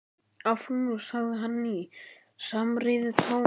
Áfram nú sagði hann í samræðutón.